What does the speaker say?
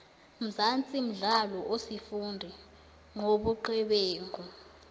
mzansi mdlalo osifundi nqobuqebenqu